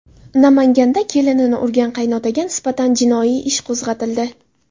Namanganda kelinini urgan qaynotaga nisbatan jinoiy ish qo‘zg‘atildi.